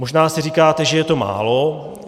Možná si říkáte, že je to málo.